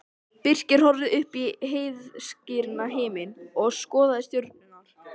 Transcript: Birkir horfði upp í heiðskíran himininn og skoðaði stjörnurnar.